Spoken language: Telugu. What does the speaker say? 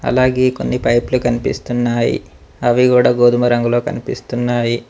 అలాగే కొన్ని పైపులు కనిపిస్తున్నాయి అవి కూడా గోధుమ రంగులో కనిపిస్తున్నాయి.